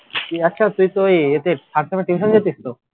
আচ্ছা তুই তো ওই ইয়েতে third sem এর tuition যাচ্ছিস তো